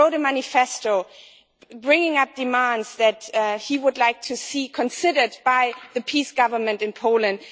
He wrote a manifesto, bringing up demands that he would like to see considered by the PiS government in Poland.